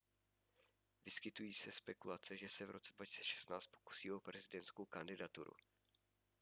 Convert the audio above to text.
vyskytují se spekulace že se v roce 2016 pokusí o prezidentskou kandidaturu